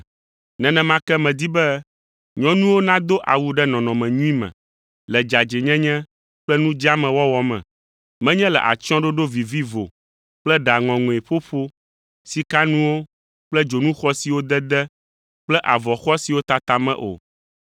Nenema ke medi be nyɔnuwo nado awu ɖe nɔnɔme nyui me, le dzadzɛnyenye kple nu dzeame wɔwɔ me, menye le atsyɔ̃ɖoɖo vivivo kple ɖa ŋɔŋɔe ƒoƒo, sikanuwo kple dzonu xɔasiwo dede kple avɔ xɔasiwo tata me o,